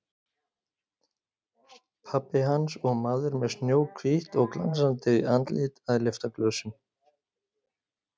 Pabbi hans og maður með snjóhvítt og glansandi andlit að lyfta glösum.